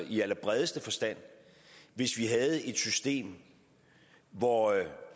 i allerbredeste forstand hvis vi havde et system hvor